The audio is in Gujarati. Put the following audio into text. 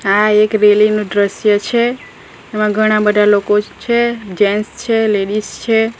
આ એક રેલીનો દ્રશ્ય છે તેમાં ઘણા બધા લોકો છે જેન્ટ્સ છે લેડીસ છે.